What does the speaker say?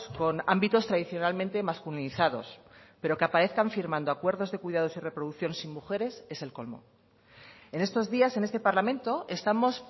con ámbitos tradicionalmente masculinizados pero que aparezcan firmando acuerdos de cuidados y reproducción sin mujeres es el colmo en estos días en este parlamento estamos